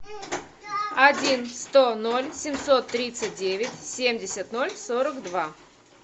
один сто ноль семьсот тридцать девять семьдесят ноль сорок два